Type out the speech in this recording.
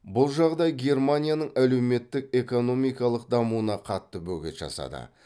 бұл жағдай германияның әлеуметтік экономикалық дамуына қатты бөгет жасады